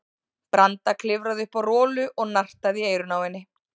Branda klifraði upp á Rolu og nartaði í eyrun á henni.